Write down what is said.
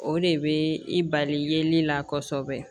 O de bɛ i bali yeli la kosɛbɛ